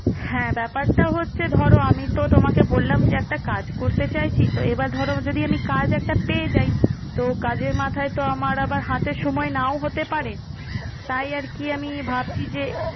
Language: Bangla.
হ্যাঁ, ব্যাপারটা হচ্ছে ধরো আমি তো তোমাকে বললাম যে একটা কাজ করতে চাইছি। তো এবার ধরো যদি আমি কাজ একটা পেয়ে যাই। তো কাজের মাথায় তো আমার আবার হাতের সময় নাও হতে পারে। তাই আর কি আমি ভাবছি যে